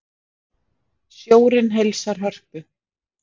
Sjórinn heilsar Hörpu